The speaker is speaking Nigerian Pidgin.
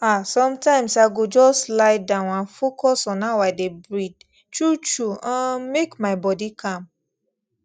ah sometimes i go just lie down and focus on how i dey breathe truetrue um make my body calm